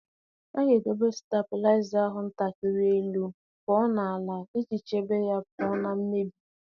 A ga-edobe stablaịza ahụ ntakịrị elu pụọ na-ala iji chebe ya pụọ ​​​​na mmebi.